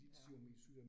Ja